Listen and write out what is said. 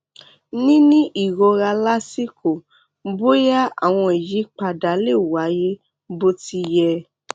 níní ìrora lásìkò bóyá àwọn ìyípadà lè wáyé bó ti yẹ